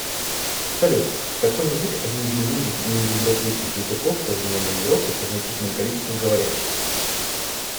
салют какой язык один из немногих неиндоевропейских языков современной европы со значительным количеством говорящих